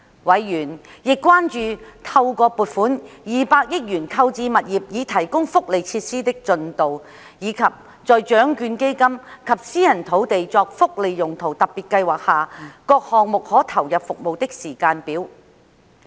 委員亦關注到透過撥款200億元購置物業以提供福利設施的進度，以及在獎券基金及私人土地作福利用途特別計劃下各項目可投入服務的時間表。